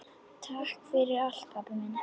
Takk fyrir allt, pabbi minn.